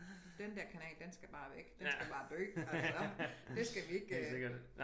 Den dér kanal den skal bare væk den skal bare dø altså det skal vi ikke øh